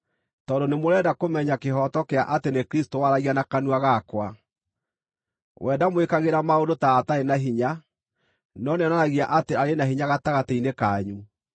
tondũ nĩmũrenda kũmenya kĩhooto kĩa atĩ nĩ Kristũ waragia na kanua gakwa. We ndamwĩkagĩra maũndũ ta atarĩ na hinya, no nĩonanagia atĩ arĩ na hinya gatagatĩ-inĩ kanyu.